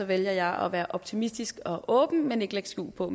vælger jeg at være optimistisk og åben men ikke lægge skjul på